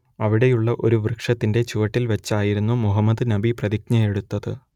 അവിടെയുള്ള ഒരു വൃക്ഷത്തിന്റെ ചുവട്ടിൽ വെച്ചായിരുന്നു മുഹമ്മദ് നബി പ്രതിജ്ഞയെടുത്തത്